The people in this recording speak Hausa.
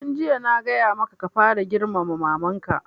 Tun jiya na gaya maka ka fara girmama maman ka!